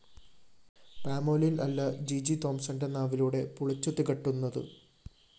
palmolein‍ അല്ല ജിജി തോംസണ്‍ന്റെ നാവിലൂടെ പുളിച്ചു തികട്ടുന്നത്